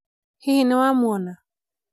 hihi nĩwamũona